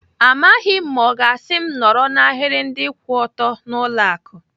Amaghị m ma ọ ga-asị m nọrọ n'ahiri ndị kwụ ọtọ n'ụlọ akụ.